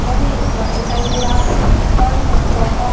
यह एक हाल दिखाई दे रहा है। हॉल में सोफा --